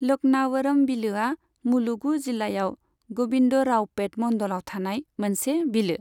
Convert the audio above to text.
लकनावरम बिलोआ मुलुगु जिल्लायाव ग'विन्दरावपेट मन्डलआव थानाय मोनसे बिलो।